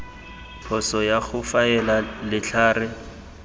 phoso ya go faela letlhare